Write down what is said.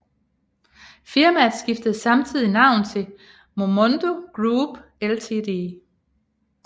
Firmaet skifter samtidig navn til Momondo Group Ltd